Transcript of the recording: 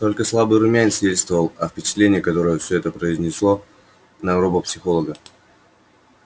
только слабый румянец свидетельствовал о впечатлении которое всё это произнесло на робопсихолога